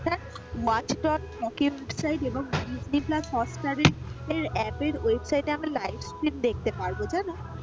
এবং Disney plus হটস্টারে app এর website আমরা live stream দেখতে পারবো।